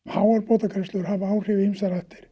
háar bótagreiðslur hafa áhrif í ýmsar áttir